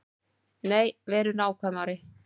Nei, verum nákvæmari.